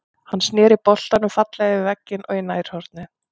Hann snéri boltann fallega yfir vegginn og í nærhornið.